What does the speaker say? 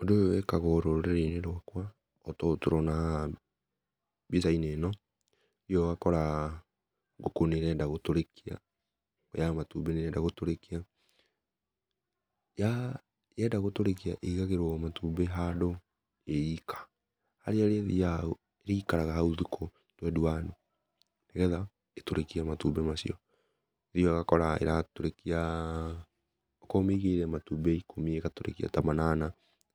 Ũndũ ũyũ wĩkagwo rũrĩrĩ-inĩ rwakwa, ota ũũ tũrana haha mbica-inĩ ĩno nĩ ũthiaga ũgakora ngũkũ nĩ ĩrenda gũkũrĩkia ya matũmbi nĩ ĩrenda gũtũrĩkia ya yenda gũtũrĩkia ĩgagĩrwo matũmbi handũ ĩ ika, harĩa ĩrĩthiaga ĩkaraga haũ thiku twendi wanu, nĩgetha ĩtũrĩkie matũmbi macio nĩ ũthiaga ũgakora ĩratũrĩkia o korwo ũmĩigĩire matũmbi ĩkũmi ĩgatũrĩkia ta manana